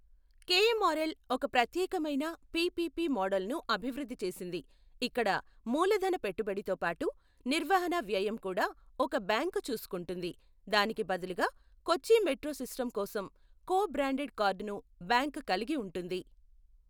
KMRL ఒక ప్రత్యేకమైన PPP మోడల్ను అభివృద్ధి చేసింది, ఇక్కడ మూలధన పెట్టుబడితో పాటు నిర్వహణ వ్యయం కూడా ఒక బ్యాంకు చూసుకుంటుంది, దానికి బదులుగా కొచ్చి మెట్రో సిస్టమ్ కోసం కో బ్రాండెడ్ కార్డును బ్యాంకు కలిగి ఉంటుంది.